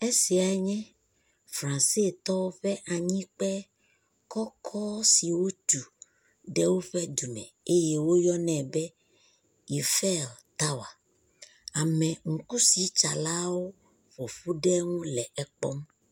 Afi sia nye Fransetɔwo ƒe anyikpe kɔkɔ si wotu ɖe woƒe dume eye woyɔnɛ be Yifel tower, ameŋukusitsalawo ƒoƒu ɖe eŋu le ekpɔm.